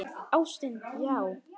Ástin, já!